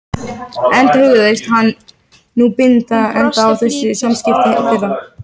Guðrún Sveinbjarnardóttir, Leirker á Íslandi.